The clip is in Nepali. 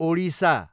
ओडिसा